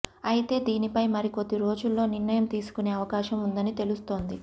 అయితే దీనిపై మరికొద్ది రోజుల్లో నిర్ణయం తీసుకునే అవకాశం ఉందని తెలుస్తోంది